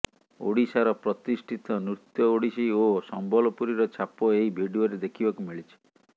ଓଡିଶାର ପ୍ରତିଷ୍ଠିତ ନୃତ୍ୟୁ ଓଡିଶୀ ଏବଂ ସମ୍ବଲପୁରୀର ଛାପ ଏହି ଭିଡିଓରେ ଦେଖିବାକୁ ମିଳିଛି